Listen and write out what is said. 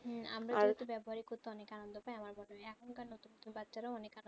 হেঁ ব্যবহারিক হতো অনেক আনন্দ প্রায়ই আমার এখন কার নতুন নতুন বাচ্চা রা